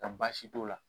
Nka baasi t'o la